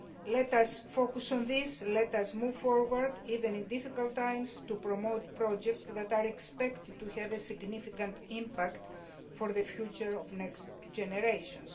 let us focus on this, let us move forward even in difficult times to promote projects that are expected to have a significant impact for the future of next generations.